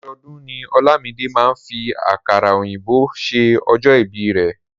Ọdọọdún ni Olamide máa ń fi àkàrà òyìnbó ṣe ọjọ́ ìbíi rẹ̀.